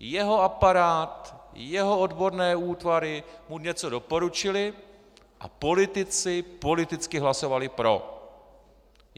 Jeho aparát, jeho odborné útvary mu něco doporučily a politici politicky hlasovali pro.